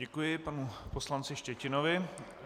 Děkuji panu poslanci Štětinovi.